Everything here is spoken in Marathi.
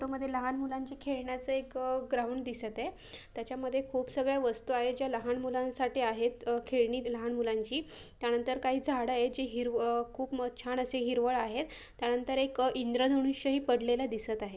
फोटो मध्ये लहान मुलांचे खेळण्याचं एक ग्राऊंड दिसत आहे. त्याच्यामध्ये खूप सगळ्या वस्तू आहेत ज्या लहान मुलांसाठी आहेत अह खेळणी लहान मुलांची त्यानंतर काही झाडं आहेत जी हिरवं अह खूप म- छान असे हिरवळ आहेत त्यानंतर एक इंद्रधनुष्य ही पडलेल दिसत आहे.